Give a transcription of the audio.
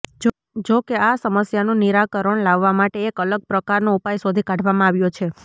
જો કે આ સમસ્યાનું નિરાકરણ લાવવા માટે એક અલગ પ્રકારનો ઉપાય શોધી કાઢવામાં આવ્યો છે